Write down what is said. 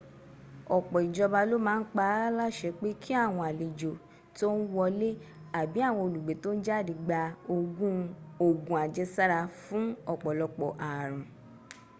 ọ̀pọ̀ ijoba ló ma n pa á láṣẹ pé kí àwọn alejò tón wọlé abi àwọn olùgbé tó n jáde gba ògùn ajesara fún ọ̀pọ̀lopọ̀ àrùn